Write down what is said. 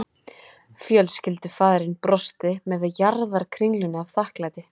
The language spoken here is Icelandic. Fjölskyldufaðirinn brosti með jarðarkringlunni af þakklæti